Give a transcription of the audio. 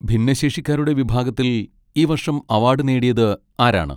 ഭിന്നശേഷിക്കാരുടെ വിഭാഗത്തിൽ ഈ വർഷം അവാഡ് നേടിയത് ആരാണ്?